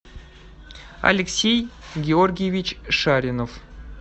алексей георгиевич шаринов